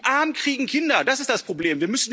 Die Armen kriegen Kinder, das ist das Problem.